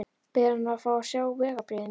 Biður hann um að fá að sjá vegabréfið mitt?